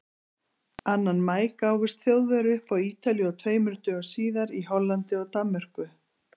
Annan maí gáfust Þjóðverjar upp á Ítalíu og tveimur dögum síðar í Hollandi og Danmörku.